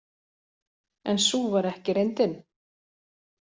En sú var ekki reyndin.